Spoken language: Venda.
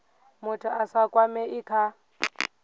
muthu a sa kwamei kha